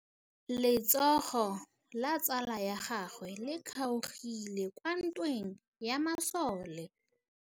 Letsôgô la tsala ya gagwe le kgaogile kwa ntweng ya masole.